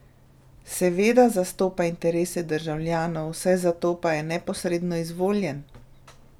Seveda zastopa interese državljanov, saj zato pa je neposredno izvoljen!